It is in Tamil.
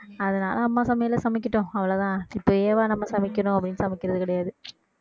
அதனால அம்மா சமையல்ல சமைக்கட்டும் அவ்வளவுதான் இப்பயேவா நம்ம சமைக்கணும் அப்படின்னு சமைக்கிறது கிடையாது